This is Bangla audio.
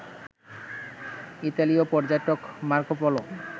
ইতালিয় পর্যটক মার্কোপোলো